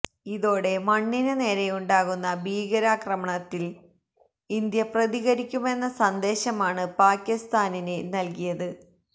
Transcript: ഇതോടെ മണ്ണിന് നേരയുണ്ടാകുന്ന ഭീകരാക്രമണത്തില് ഇന്ത്യ പ്രതികരിക്കുമെന്ന സന്ദേശമാണ് പാകിസ്താനിന് നല്കിയത്